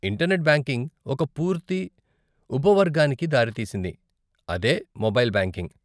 Internet banking ఒక పూర్తి ఉపవర్గానికి దారితీసింది, అదే మొబైల్ బ్యాంకింగ్.